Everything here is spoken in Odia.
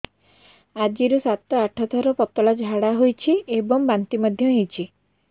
ଆଜି ସାତରୁ ଆଠ ଥର ପତଳା ଝାଡ଼ା ହୋଇଛି ଏବଂ ବାନ୍ତି ମଧ୍ୟ ହେଇଛି